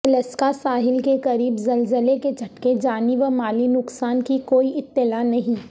الاسکاساحل کے قریب زلزلہ کے جھٹکے جانی و مالی نقصان کی کوئی اطلاع نہیں